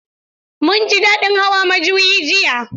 Mun ji daɗin hawan majuyi jiya.